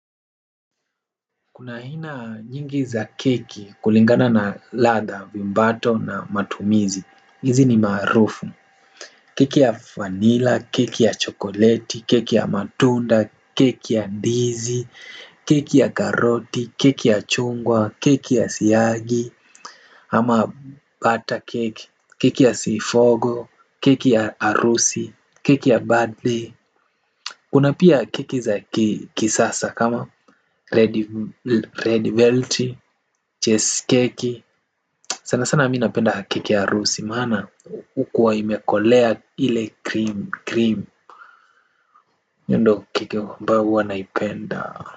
Kuna aina nyingi za keki kulingana na ladha viumbato na matumizi. Izi ni maarufu. Keki ya vanila, keki ya chokoleti, keki ya matunda, keki ya ndizi, keki ya karoti, keki ya chungwa, keki ya siyagi, ama butter cake, keki ya sifogo, keki ya arusi, keki ya birthday. Kuna pia keki za kisasa kama red velti Cheskeki sana sana mi napenda keki ya arusi maana hukua imekolea ile krimi krim hio ndo keki ambayo huwanaipenda.